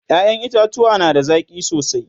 ƴaƴan itatauwa na da zaki sosai